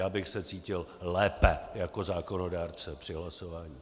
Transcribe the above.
Já bych se cítil lépe jako zákonodárce při hlasování.